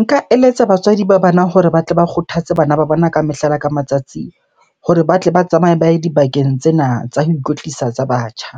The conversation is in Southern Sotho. Nka eletsa batswadi ba bana hore ba tle ba kgothatse bana ba bona ka mehla le ka matsatsi hore ba tle ba tsamaye ba ye dibakeng tsena tsa ho ikwetlisa tsa batjha.